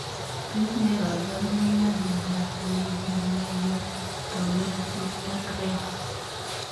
Tos ne kabarunoik ap miondoop leiyomayotomasiis ak rena